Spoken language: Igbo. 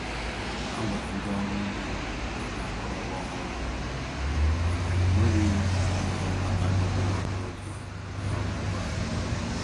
A gwara ndị ọrụ ugbo maka akụrụngwa ọhụrụ, mana ọ nweghị ihe batagolụ n'oge ihe ọkụkụ a.